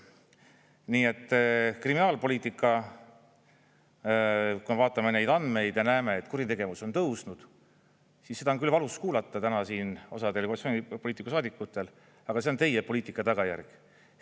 Nii et kriminaalpoliitika, kui me vaatame neid andmeid ja näeme, et kuritegevus on tõusnud, siis seda on küll valus kuulata täna siin osal koalitsioonipoliitikutel, saadikutel, aga see on teie poliitika tagajärg.